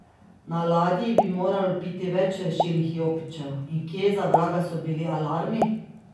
Na ladji bi moralo biti več rešilnih jopičev, in kje za vraga so bili alarmi?